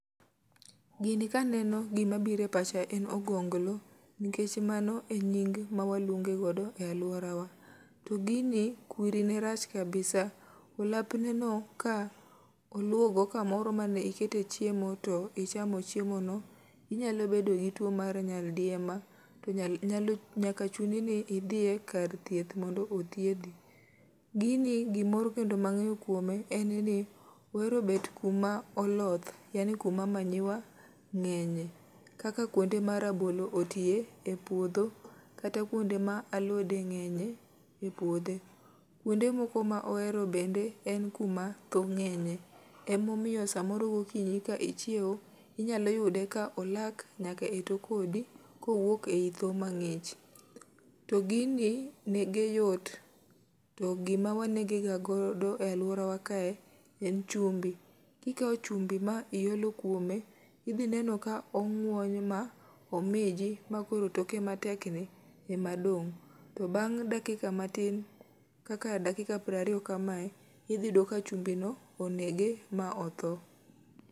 Gini kaneno gima biro e pacha en ogonglo. Nikech mano e nying ma waluonge godo e alworawa. To gini, kwiri ne rach kabisa. Olapne no ka oluwo go kamoro mane ikete chiemo, to ichamo chiemo no, inyalo bedo gi two mar nyaldiema. To nyalo, nyaka chuni ni idhie kar thieth mondo othiedhi. Gini gimoro kendo ma angéyo kuome, en ni, ohero bet kuma oloth, yaani kuma manure ngénye. Kaka kuonde ma rabolo otie e puodho, kata kuonde ma alode ngénye e puodo. Kounde moko ma ohero bende, en kuma thoo ngénye. Ema omiyo samoro gokinyi ka ichiewo, inyalo yude ka olak nyaka e tok odi, ka owuok ei thoo mangích. To gini nege yot. To gima wanege ga godo e alworawa kae en chumbi. Kikao chumbi ma iolo kuome, idhi neno ka ong'wony ma omiji, ma koro toke matekni ema dong', to bang' dakika matin, kaka dakina piero ariyo kamae, idhi yudo ka chumbi no onege, ma otho.